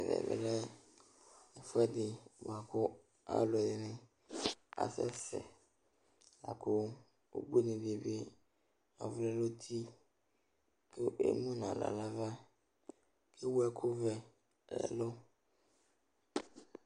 Ɛvɛ lɛ ɛfʋɛdɩ bʋa kʋ alʋɛdɩnɩ asɛsɛ la kʋ ubuinɩ dɩ bɩ ɔvlɛ nʋ uti kʋ emu nʋ aɣla nʋ ava kʋ ewu ɛkʋvɛ nʋ ɛlʋ